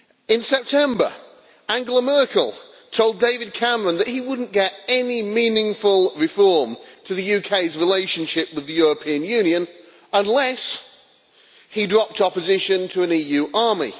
In September, Angela Merkel told David Cameron that he would not get any meaningful reform to the UK's relationship with the European Union unless he dropped opposition to an EU army.